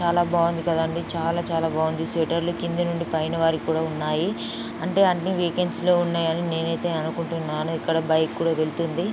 బాగుంది కదండీ. చాలా చాలా బాగుంది స్వటర్ లు కింది నుండి పైని వారికి కూడా ఉన్నాయి. వేకెన్సీ లో ఉన్నాయ్ అని నేనైతే అనుకుంటున్నాను. ఇక్కడ బైక్స్ కూడా వెళ్తుంది.